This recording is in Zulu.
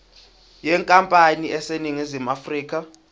yenkampani eseningizimu afrika